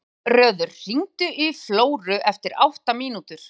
Guðröður, hringdu í Flóru eftir átta mínútur.